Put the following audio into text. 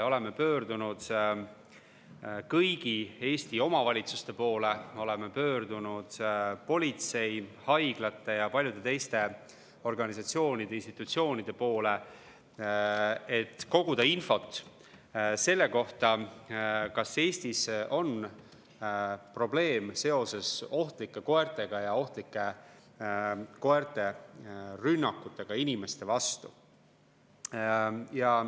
Oleme pöördunud kõigi Eesti omavalitsuste poole, oleme pöördunud politsei, haiglate ja paljude teiste organisatsioonide ja institutsioonide poole, et koguda infot selle kohta, kas Eestis on probleem seoses ohtlike koertega, ohtlike koerte rünnakutega inimeste vastu.